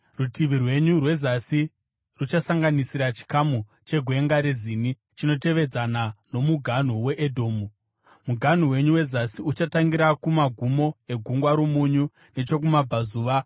“ ‘Rutivi rwenyu rwezasi ruchasanganisira chikamu cheGwenga reZini chinotevedzana nomuganhu weEdhomu. Muganhu wenyu wezasi, uchatangira kumagumo eGungwa roMunyu nechokumabvazuva,